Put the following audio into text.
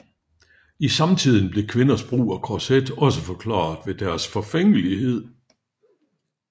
I samtiden blev kvinders brug af korset også forklaret ved deres forfængelighed